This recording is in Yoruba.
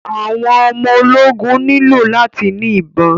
Àwọn ọmọ ológun nílò láti ni ìbọn.